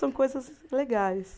São coisas legais.